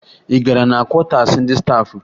Ị gara na kwọtaasi ndị staafụ?